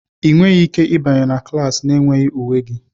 Ị nweghị ike ịbanye na klas na-enweghị uwe gị!